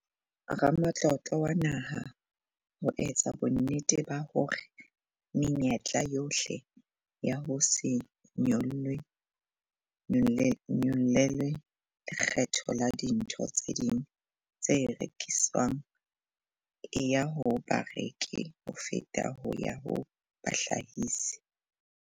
Ramatlotlo wa Naha ho etsa bonnete ba hore menyetla yohle ya ho se nyollelwe lekgetho la dintho tse ding tse rekiswang e ya ho bareki ho feta ho ya ho bahlahisi.